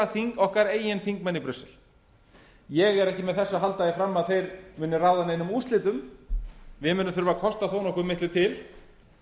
okkar eigin þingmenn í brussel ég er ekki með þessu að halda því fram að þeir munu ráða neinum úrslitum við munum þurfa að kosta þó nokkuð miklu til